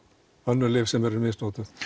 önnur lyf sem eru misnotuð